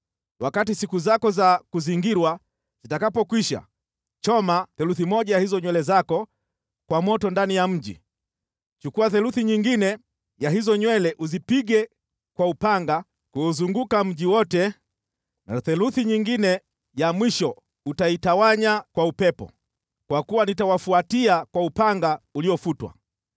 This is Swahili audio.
Wakati siku zako za kuzingirwa zitakapokwisha, choma theluthi moja ya hizo nywele zako kwa moto ndani ya mji. Chukua theluthi nyingine ya hizo nywele uzipige kwa upanga kuuzunguka mji wote na theluthi nyingine ya mwisho utaitawanya kwa upepo. Kwa kuwa nitawafuatia kwa upanga uliofutwa.